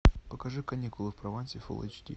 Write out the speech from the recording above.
покажи каникулы в провансе фул эйч ди